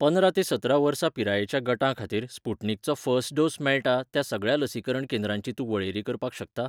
पंदरा ते सतरा वर्सां पिरायेच्या गटां खातीर स्पुटनिकचो फर्स्ट डोस मेळटा त्या सगळ्या लसीकरण केंद्रांची तूं वळेरी करपाक शकता?